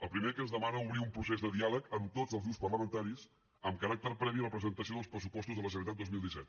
el primer que ens demana obrir un procés de diàleg amb tots els grups parlamentaris amb caràcter previ a la presentació dels pressupostos de la generalitat dos mil disset